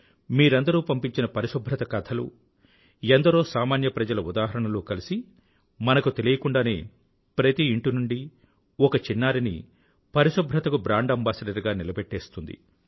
మీరందరూ పంపించిన పరిశుభ్రత కథలు ఎందరో సామాన్య ప్రజల ఉదాహరణలు కలిసి మనకు తెలియకుండానే ప్రతి ఇంటి నుండీ ఒక చిన్నారిని పరిశుభ్రతకు బ్రాండ్ అంబాసిడర్ గా నిలబెట్టేస్తుంది